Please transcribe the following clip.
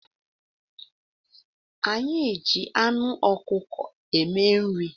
Anyị ji anụ ọkụkọ eme nri